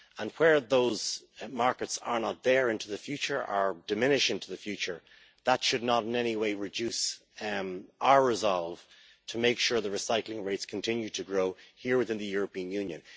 Where those markets are not there in the future, or diminish in the future, that should not in any way reduce our resolve to make sure that recycling rates continue to grow here within the European Union.